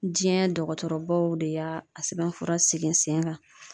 jiɲɛn dɔgɔtɔrɔbaw de y'a a sɛbɛnfura sigin sen kan